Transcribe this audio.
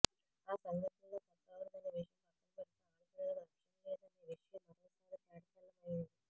ఆ సంఘటనలో తప్పెవరిది అనే విషయం పక్కన పెడితే ఆడపిల్లలకు రక్షణ లేదు అనే విషయం మరోసారి తేటతెల్లం అయ్యింది